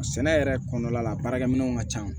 Sɛnɛ yɛrɛ kɔnɔna la a baarakɛminɛnw ka ca